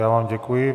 Já vám děkuji.